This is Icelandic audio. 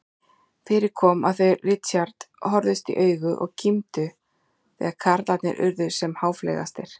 Fyrir kom að þau Richard horfðust í augu og kímdu þegar karlarnir urðu sem háfleygastir.